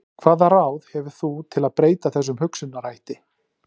Hvaða ráð hefur þú til að breyta þessum hugsunarhætti?